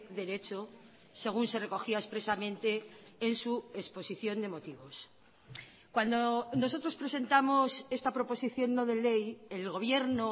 derecho según se recogía expresamente en su exposición de motivos cuando nosotros presentamos esta proposición no de ley el gobierno